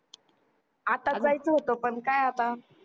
आत्ताच जायचं होत पण काय आता